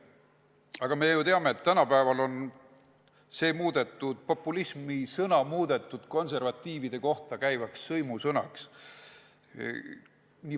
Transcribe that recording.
Aga me ju teame, et tänapäeval on sõna "populism" muudetud konservatiivide kohta käivaks sõimusõnaks.